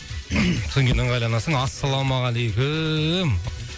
содан кейін ыңғайланасың ассалаумағалейкум